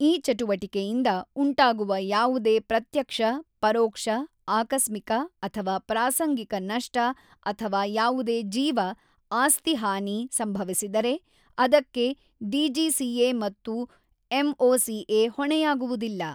ಈ ಚಟುವಟಿಕೆಯಿಂದ ಉಂಟಾಗುವ ಯಾವುದೇ ಪ್ರತ್ಯಕ್ಷ, ಪರೋಕ್ಷ, ಆಕಸ್ಮಿಕ ಅಥವಾ ಪ್ರಾಸಂಗಿಕ ನಷ್ಟ ಅಥವಾ ಯಾವುದೇ ಜೀವ ಆಸ್ತಿ ಹಾನಿ ಸಂಭವಿಸಿದರೆ ಅದಕ್ಕೆ ಡಿಜಿಸಿಎ ಮತ್ತು ಎಂಒಸಿಎ ಹೊಣೆಯಾಗುವುದಿಲ್ಲ.